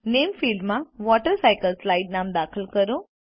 નામે ફિલ્ડમાં વોટરસાયકલસ્લાઇડ નામ દાખલ કરો